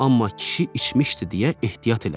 Amma kişi içmişdi deyə ehtiyat elədi.